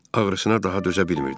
Ağrısına daha dözə bilmirdi.